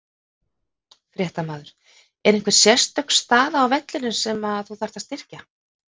Fréttamaður: Er einhver sérstök staða á vellinum sem þú þarft að styrkja?